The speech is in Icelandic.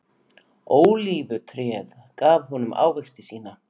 Ólífutréð gaf honum ávexti sína.